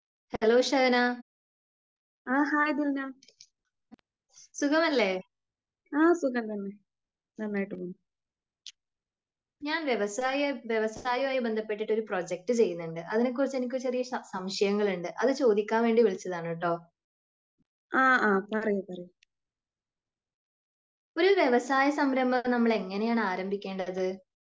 hello Shahana സുഖമല്ലേ ഞാൻ വ്യവസായ വ്യവസായമായി ബന്ധപ്പെട്ടിട്ട് ഒരു പ്രൊജക്റ്റ് ചെയ്യുന്നുണ്ട് അതിനെ കുറിച്ച് എനിക്ക് ചെറിയ സംശയങ്ങൾ ഉണ്ട് അത് ചോദിക്കാൻ വേണ്ടി വിളിച്ചതാണ് ട്ടോ ഒരു വ്യവസായ സംരംഭങ്ങൾ നമ്മൾ എങ്ങിനെയാണ് ആരംഭിക്കേണ്ടത്